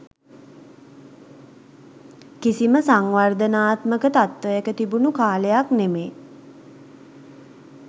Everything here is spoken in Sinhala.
කිසිම සංවර්ධනාත්මක තත්ත්වයක තිබුණු කාලයක් නෙමේ.